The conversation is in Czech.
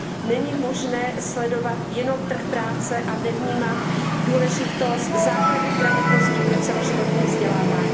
Není možné sledovat jenom trh práce a nevnímat důležitost základních gramotností pro celoživotní vzdělávání.